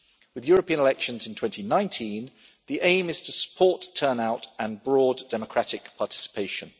With European elections in 2019, the aim is to support turnout and broad democratic participation.